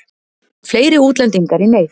Fleiri útlendingar í neyð